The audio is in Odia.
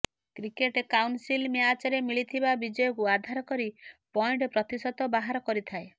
କ୍ରିକେଟ କାଉନସିଲ୍ ମ୍ୟାଚରେ ମିଳିଥିବା ବିଜୟକୁ ଆଧାର କରି ପଏଣ୍ଟ ପ୍ରତିଶତ ବାହାର କରିଥାଏ